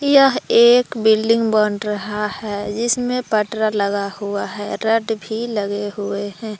यह एक बिल्डिंग बन रहा है जिसमें पटरा लगा हुआ है रट भी लगे हुए है।